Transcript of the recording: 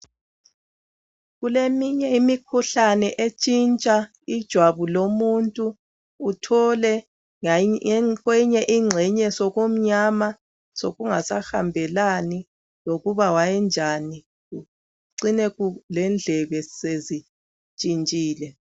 Kuleminye imikhuhlane entshintsha ijwabu lomuntu .Uthole kweyinye ingxenye sokumnyama ,sokungasahambelani lokuba kwayenjani .Kucine lendlebe sezintshintshile.